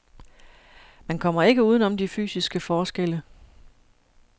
Man kommer ikke uden om de fysiske forskelle.